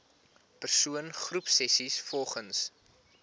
persoon groepsessies volgens